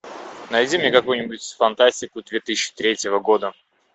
найди мне какую нибудь фантастику две тысячи третьего года